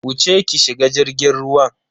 Wuce ki shiga jirgin ruwan.